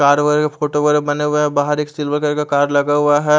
Car वाले photo बने हुए है बाहर एक सिल्वर कलर का कार लगा हुआ है ।